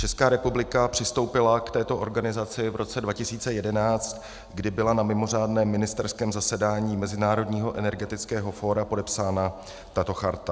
Česká republika přistoupila k této organizaci v roce 2011, kdy byla na mimořádném ministerském zasedání Mezinárodního energetického fóra podepsána tato charta.